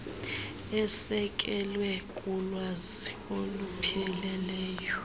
esekelwe kulwazi olupheleleyo